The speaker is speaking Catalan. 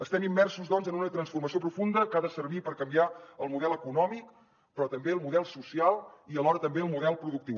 estem immersos doncs en una transformació profunda que ha de servir per canviar el model econòmic però també el model social i alhora també el model productiu